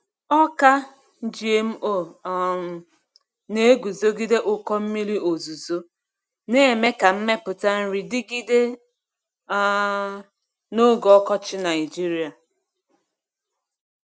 Ọka GMO um na-eguzogide ụkọ mmiri ozuzo, na-eme ka mmepụta nri dịgide um n’oge ọkọchị Nigeria.